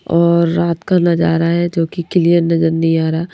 और रात का नजारा है जो कि क्लियर नजर नहीं आ रहा--